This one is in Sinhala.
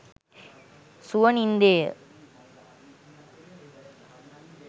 සුව නින්දේය